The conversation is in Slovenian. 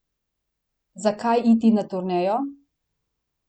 Zakaj iti na turnejo?